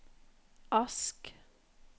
Ask